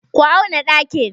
Ku auna ɗakin!